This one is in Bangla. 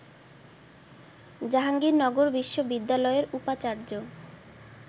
জাহাঙ্গীরনগর বিশ্ববিদ্যালয়ের উপাচার্য